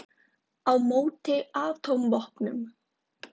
Á móti atómvopnum!